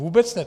Vůbec ne!